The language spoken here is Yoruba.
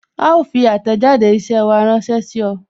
A ó fi àtẹ̀jáde isẹ wa ránsẹ́ sí ọ